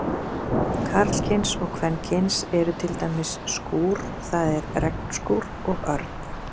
Karlkyns og kvenkyns eru til dæmis skúr, það er regnskúr, og örn.